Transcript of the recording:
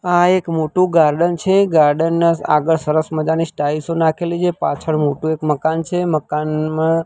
આ એક મોટું ગાર્ડન છે ગાર્ડન ના આગળ સરસ મજાની નાખેલી છે પાછળ મોટું એક મકાન છે મકાનમાં--